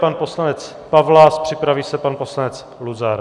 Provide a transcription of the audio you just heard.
Pan poslanec Pawlas, připraví se pan poslanec Luzar.